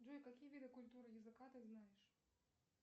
джой какие виды культуры языка ты знаешь